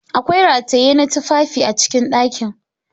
Akwai rataye na tufafi a cikin dakin.